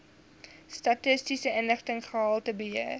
statistiese inligting gehaltebeheer